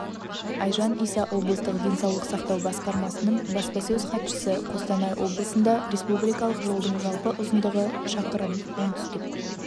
айжан иса облыстық денсаулық сақтау басқармасының баспасөз хатшысы қостанай облысында республикалық жолдың жалпы ұзындығы шақырым оңтүстік